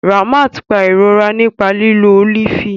Ramat pa irorẹ́ nípa lílo ólífì